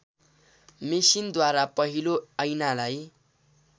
मेसिनद्वारा पहिलो ऐनालाई